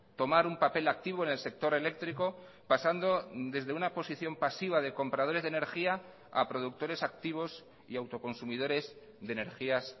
tomar un papel activo en el sector eléctrico pasando desde una posición pasiva de compradores de energía a productores activos y autoconsumidores de energías